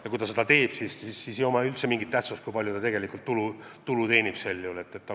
Ja kui ta seda teeb, siis pole üldse mingit tähtsust, kui palju ta tegelikult tulu teenib.